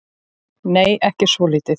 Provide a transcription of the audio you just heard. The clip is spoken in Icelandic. Nei, ekki svolítið.